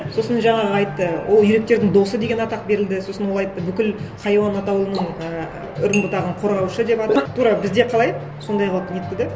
сосын жаңағы айтты ол үйректердің досы деген атақ берілді сосын ол айтты бүкіл хайуан атауының і үрім бұтағын қорғаушы деп атап тура бізде қалай сондай қылып нетті де